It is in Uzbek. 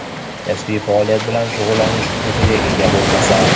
kasbiy faoliyat bilan shug‘ullanish huquqiga ega bo‘lmasa);.